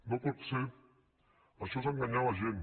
no pot ser això és enganyar la gent